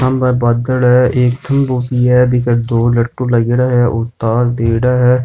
सामे बादल हैएक थम्बो भी है बीके दो लट्टू लागियोडा है और तार दियेड़ा है।